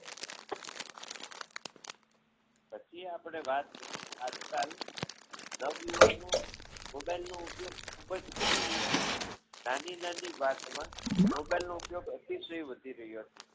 પછી આપણે વાત કરીએ આજકાલ નવયુવાનો mobile નો ઉપયોગ ખૂબ જ કરી રહ્યા છે નાની નાની વાતમાં mobile નો ઉપયોગ અતિશય વધી રહ્યો છે.